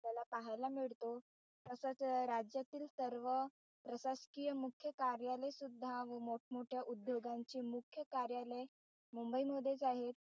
आपल्याला पाहायला मिळतो तसाच राज्यातील सर्व प्रशासकीय मुख्य कार्यालय सुद्धा व मोठमोठ्या उद्योगांची मुख्य कार्यालये मुंबई मधेच आहे.